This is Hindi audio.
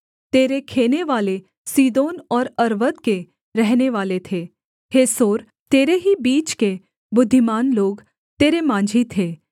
तेरे खेनेवाले सीदोन और अर्वद के रहनेवाले थे हे सोर तेरे ही बीच के बुद्धिमान लोग तेरे माँझी थे